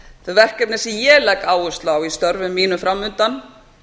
þau verkefni sem ég legg áherslu á í störfum mínum fram undan